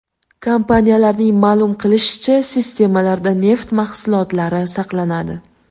Kompaniyaning ma’lum qilishicha, sisternalarda neft mahsulotlari saqlanadi.